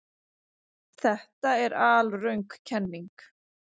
Þetta er alröng kenning.